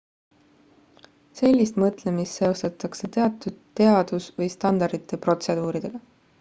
sellist mõtlemist seostatakse teatud teadus või standardite protseduuridega